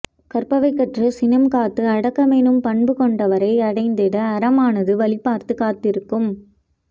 கற்பவை கற்றுச் சினம் காத்து அடக்கமெனும் பண்பு கொண்டவரை அடைந்திட அறமானது வழிபார்த்துக் காத்திருக்கும்